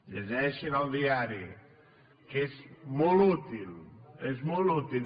llegeixin el diari que és molt útil és molt útil